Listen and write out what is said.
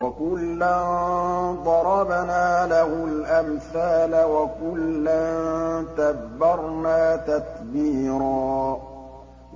وَكُلًّا ضَرَبْنَا لَهُ الْأَمْثَالَ ۖ وَكُلًّا تَبَّرْنَا تَتْبِيرًا